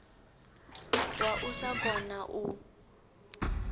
wa u sa kona u